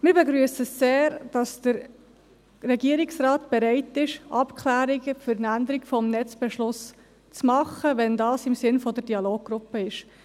Wir begrüssen es sehr, dass der Regierungsrat bereit ist, Abklärungen für eine Änderung des Netzbeschlusses zu machen, wenn dies im Sinn der Dialoggruppe ist.